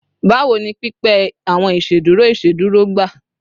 Bawo ni pipẹ awọn iṣeduro iṣeduro gba?